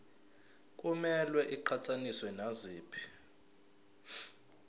kumele iqhathaniswe naziphi